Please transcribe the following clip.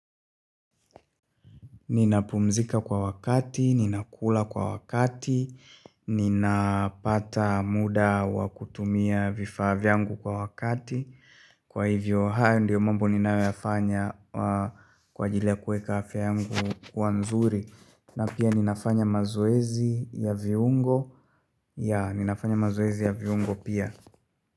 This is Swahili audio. Ninapumzika kwa wakati, ninakula kwa wakati, ninapata muda wakutumia vifaa vyangu kwa wakati Kwa hivyo hao ndiyo mambo ninayo yafanya kwa ajiri ya kueka afya yangu kwa nzuri na pia ninafanya mazoezi ya viungo ya, ninafanya mazoezi ya viungo pia.